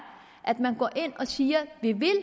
at man går ind og siger at vi vil